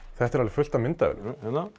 þetta er alveg fullt af myndavélum